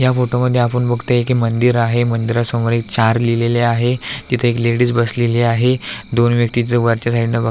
या फोटोमध्ये आपण बघतोय की मंदिर आहे मंदिरासमोर एक चार लिहिलेल आहे तिथे एक लेडिज बसलेली आहे दोन व्यक्ति तिथ वरच्या साइडन बघ --